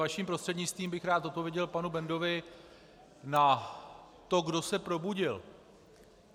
Vaším prostřednictvím bych rád odpověděl panu Bendovi na to, kdo se probudil.